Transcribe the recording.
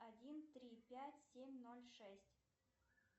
один три пять семь ноль шесть